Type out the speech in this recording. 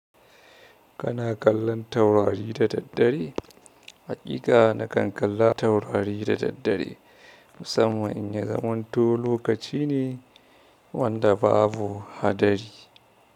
Kana kallon taurari da daddare? Haƙiƙa na kan kalla taurari da daddare, musamman in ya zamanto lokaci ne wanda babu haɗari.